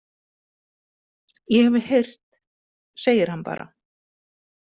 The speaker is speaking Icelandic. Ég hef heyrt, segir hann bara.